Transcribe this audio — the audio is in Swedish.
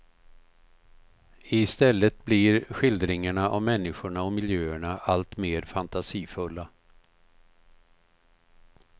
I stället blir skildringarna av människorna och miljöerna allt mer fantasifulla.